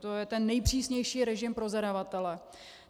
To je ten nejpřísnější režim pro zadavatele.